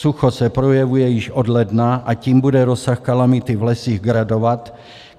Sucho se projevuje již od ledna, a tím bude rozsah kalamity v lesích gradovat.